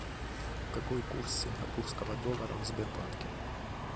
какой курс сингапурского доллара в сбербанке